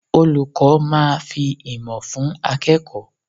Olùkọ́ máa fi ìmọ̀ fún akẹ́kọ̀ọ́.